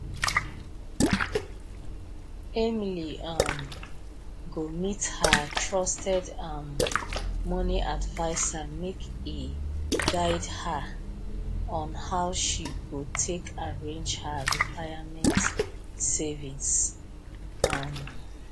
emily um go meet her trusted um money advisor make e guide her on how she go take arrange her retirement savings um